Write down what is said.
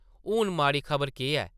हून माड़ी खबर केह् ऐ?